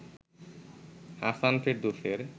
Hasan ফেরদৌসের